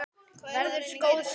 Verður góð saga.